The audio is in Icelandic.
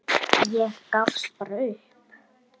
Ég gafst bara upp.